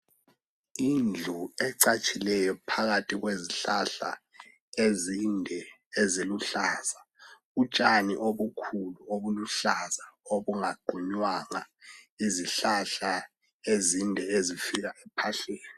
Indlu ecatshileyo phakathi kwezihlahla ezinde eziluhlaza utshani obukhulu oluhlaza olungaqunywanga izihlahla ezinde ezifika phetsheya